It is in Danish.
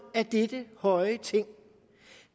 af dette høje ting